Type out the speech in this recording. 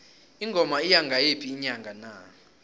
ingoma iya ngayiphi inyanga na